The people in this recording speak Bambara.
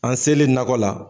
An selen nakɔ la.